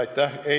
Aitäh!